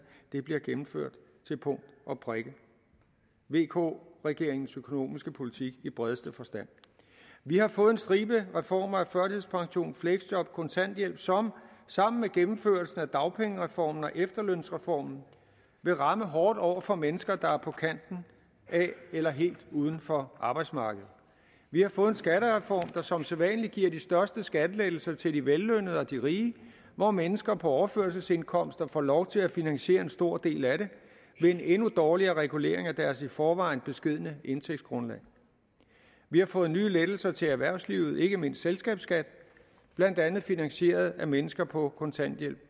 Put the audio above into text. det bliver gennemført til punkt og prikke vk regeringens økonomiske politik i bredeste forstand vi har fået en stribe reformer af førtidspension fleksjob kontanthjælp som sammen med gennemførelse af dagpengereformen og efterlønsreformen vil ramme hårdt over for mennesker der er på kanten af eller helt uden for arbejdsmarkedet vi har fået en skattereform der som sædvanlig giver de største skattelettelser til de vellønnede og de rige hvor mennesker på overførselsindkomster får lov til at finansiere en stor del af det ved en endnu dårligere regulering af deres i forvejen beskedne indtægtsgrundlag vi har fået nye lettelser til erhvervslivet ikke mindst selskabsskat blandt andet finansieret af mennesker på kontanthjælp